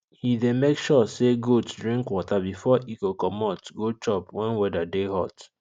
he dey make sure say goat drink water before e go commot go chop wen weather dey hot